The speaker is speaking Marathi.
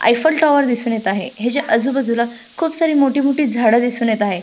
आयफेल टाॅवर दिसुन येत आहे. हेच्या आजुबाजुला खुप सारी मोठी मोठी झाड दिसुन येत आहे.